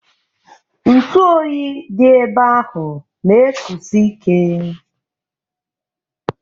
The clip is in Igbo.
Ntụ oyi dị ebe ahụ na ekusi ike.